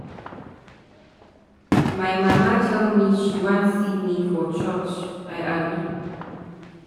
My mama tell me say she wan see me for church, I agree.